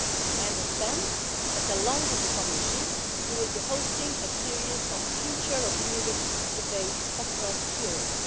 I understand that, along with the Commission, you will be hosting a series of Future of Europe debates across Europe.